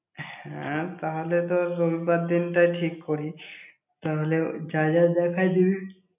হ্যাঁ, তাহলে তো রবিবার দিনটাই ঠিক করি। তাহলে যা যা দেখার জিনিস।